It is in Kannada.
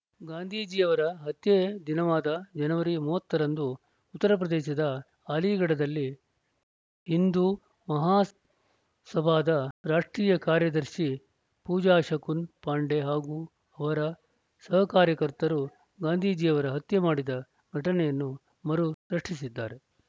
ಗಾಂಧೀಜಿಯವರ ಹತ್ಯೆ ದಿನವಾದ ಜನವರಿ ಮೂವತ್ತರಂದು ಉತ್ತರ ಪ್ರದೇಶದ ಆಲಿಘಡದಲ್ಲಿ ಹಿಂದು ಮಹಾಸಭಾದ ರಾಷ್ಟ್ರೀಯ ಕಾರ್ಯದರ್ಶಿ ಪೂಜಾ ಶಕುನ್‌ ಪಾಂಡೆ ಹಾಗೂ ಅವರ ಸಹಕಾರ್ಯಕರ್ತರು ಗಾಂಧೀಜಿಯವರ ಹತ್ಯೆ ಮಾಡಿದ ಘಟನೆಯನ್ನು ಮರು ಸೃಷ್ಟಿಸಿದ್ದಾರೆ